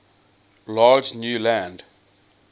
large new land